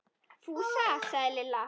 Fúsa! sagði Lilla.